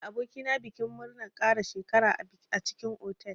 Na taya aboki na bikin murnar ƙara shekara a cikin otal.